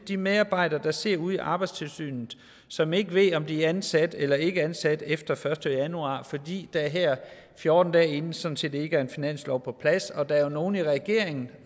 de medarbejdere der sidder ude i arbejdstilsynet som ikke ved om de er ansat eller ikke ansat efter den første januar fordi der her fjorten dage inden sådan set ikke er en finanslov på plads og der er jo nogle i regeringen